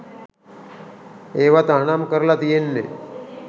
ඒව තහනම් කරල තියෙන්නෙ